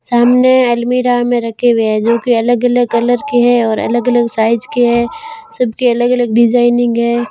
सामने अलमीरा में रखे हुए हैं जो कि अलग-अलग कलर के हैं और अलग-अलग साइज के हैं। सबके अलग-अलग डिजाइनिंग हैं।